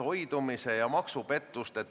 Hääletustulemused Aitäh!